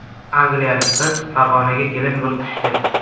Angliyalik qiz Farg‘onaga kelin bo‘lib tushdi .